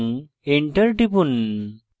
এবং enter টিপুন